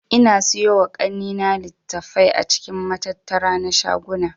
Ina siyowa kannena litattafai a cikin matattara na shaguna